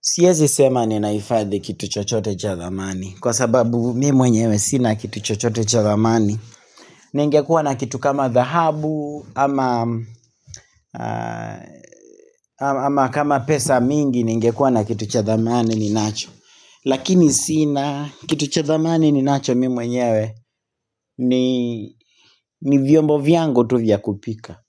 Siezi sema ninaifadhi kitu chochote cha dhamani Kwa sababu mimi mwenyewe sina kitu chochote cha dhamani Ningekuwa na kitu kama thahabu ama kama pesa mingi ningekuwa na kitu cha dhamani ni nacho Lakini sina kitu cha dhamani ni nacho mimi mwenyewe, ni vyombo vyangu tu vya kupika